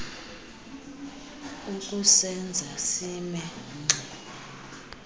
ukusenza sime ngxi